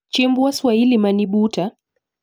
Chiemb waswahili mani buta?